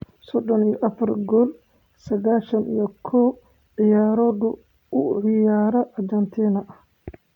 sodon iyo afar gool saqashan iyo kow ciyaarood oo uu u ciyaaray Argentina.